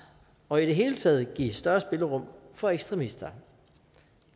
og i det hele taget give større spillerum for ekstremister